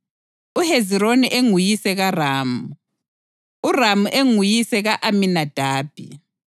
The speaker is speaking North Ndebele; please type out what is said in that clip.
uHezironi enguyise kaRamu, uRamu enguyise ka-Aminadabi,